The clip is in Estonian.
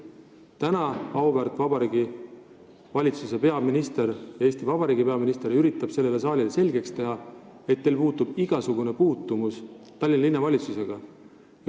Täna üritab auväärt Eesti Vabariigi peaminister sellele saalile selgeks teha, et tal puudub igasugune puutumus Tallinna Linnavalitsusega.